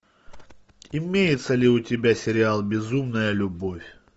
имеется ли у тебя сериал безумная любовь